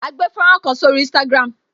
A gbé fọ́nrán kan sórí Instagram